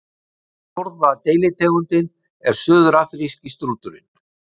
fjórða deilitegundin er suðurafríski strúturinn